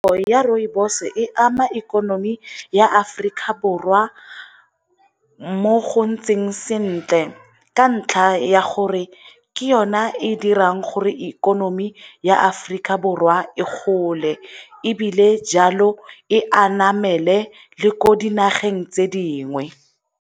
ya rooibos e ama ikonomi ya Aforika Borwa mo go ntseng sentle ka ntlha ya gore ke yona e e dirang gore ikonomi ya Aforika Borwa e gole ebile jalo e a namele le ko dinageng tse dingwe.